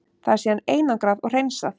Það er síðan einangrað og hreinsað.